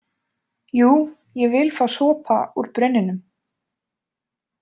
Jú, ég vil fá sopa úr brunninum!